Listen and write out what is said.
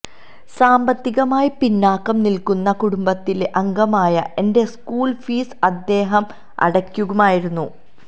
സാമ്പത്തികമായി പിന്നാക്കം നില്ക്കുന്ന കുടംബത്തിലെ അംഗമായ എന്റെ സ്കൂള് ഫീസ് അദ്ദേഹം അടയ്ക്കുമായിരുന്നു